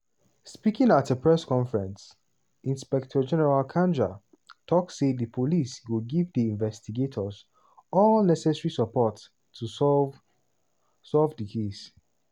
speaking at a press conference inspector general kanja tok say di police go give di investigators all "necessary support" to solve solve di case.